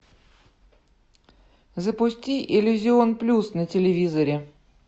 запусти иллюзион плюс на телевизоре